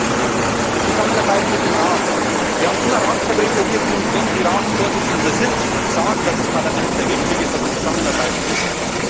Erstens die Zusammenarbeit mit dem Rat Wir haben immer Ratsvertreter hier, die, wenn sie Ratsvorsitzende sind, sagen, dass das Parlament sehr wichtig sei, dass wir zusammenarbeiten müssen.